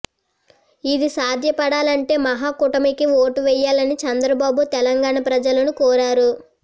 ఇది సాధ్యపడాలంటే మహాకుటమికి ఓటు వేయాలని చంద్రబాబు తెలంగాణ ప్రజలను కోరారు